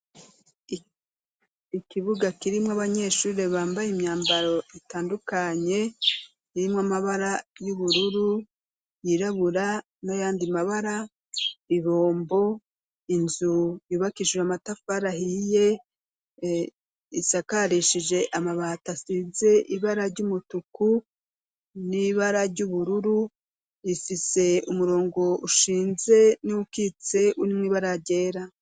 Ikibuga kirimwo abanyeshuri bambaye imyambaro itandukanye irimwo amabara y'ubururu, yirabura nayandi mabara, ibombo, inzu yubakishijwe amatafari ahiye isakarishije amabati asize ibara ry'umutuku n'ibara ry'ubururu, ifise umurongo ushinze nuwukitse urimwo ibara ryera.